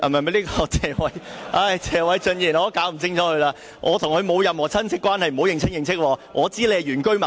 不，是謝偉俊議員——我也搞不清楚了——我和他沒有任何親戚關係，他可不要認親認戚。